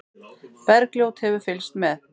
Bergljót hefur fylgst með.